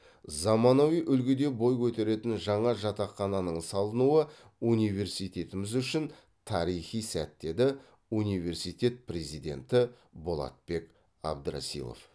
заманауи үлгіде бой көтеретін жаңа жатақхананың салынуы университетіміз үшін тарихи сәт деді университет президенті болатбек абдрасилов